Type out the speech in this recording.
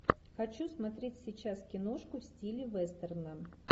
хочу смотреть сейчас киношку в стиле вестерна